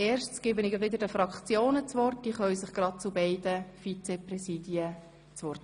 Zunächst gebe ich den Fraktionen das Wort.